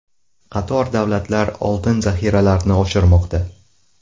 Qator davlatlar oltin zaxiralarini oshirmoqda.